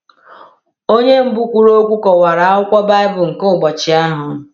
Onye mbụ kwuru okwu kọwara akwụkwọ Baịbụl nke ụbọchị ahụ.